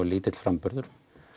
lítill framburður